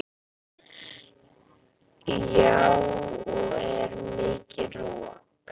Lára: Já og er mikið rok?